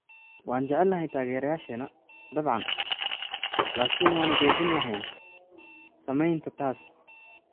Waan jecelnahay taageereyaasheenna, dabcan, laakiin waanu joojin lahayn samaynta taas.